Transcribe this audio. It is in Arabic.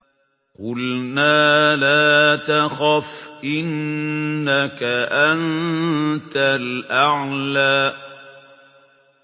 قُلْنَا لَا تَخَفْ إِنَّكَ أَنتَ الْأَعْلَىٰ